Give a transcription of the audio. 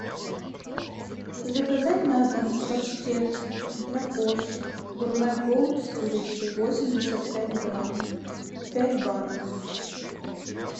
заказать на дом паштет для кошек гурме голд с курицей восемьдесят пять грамм пять банок